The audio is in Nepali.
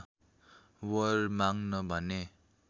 वर माग्न भने